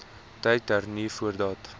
tyd hernu voordat